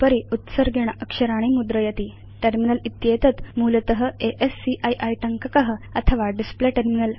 उपरि उत्सर्गेण अक्षराणि मुद्रयति टर्मिनल इत्येतत् मूलत अस्की टङ्कक अथवा डिस्प्ले टर्मिनल